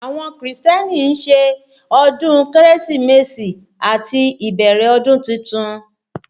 Àwọn Krìstẹ́nì ń ṣe ọdún Kérésìmesì àti ìbẹ̀rẹ̀ ọdún titun